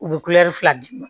U bɛ fila d'i ma